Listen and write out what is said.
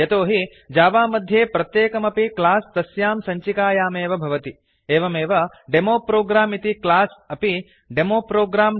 यतोहि जावा मध्ये प्रत्येकमपि क्लास् तस्यां सञ्चिकायामेव भवति एवमेव डेमो प्रोग्रं इति क्लास् अपि डेमो प्रोग्रं